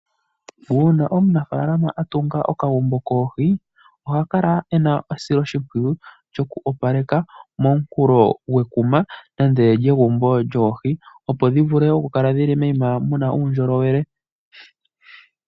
Uuna omunafalama a tunga okagumbo koohi oha kala e na esiloshimpwiyu lyoku ka opaleka, momunkulo gwekuma lyegumbo lyoohi opo dhi vule okukala moyima mu na uundjolowele.